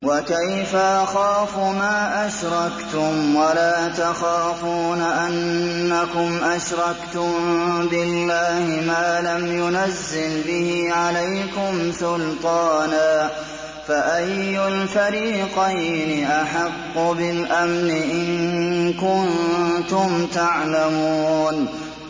وَكَيْفَ أَخَافُ مَا أَشْرَكْتُمْ وَلَا تَخَافُونَ أَنَّكُمْ أَشْرَكْتُم بِاللَّهِ مَا لَمْ يُنَزِّلْ بِهِ عَلَيْكُمْ سُلْطَانًا ۚ فَأَيُّ الْفَرِيقَيْنِ أَحَقُّ بِالْأَمْنِ ۖ إِن كُنتُمْ تَعْلَمُونَ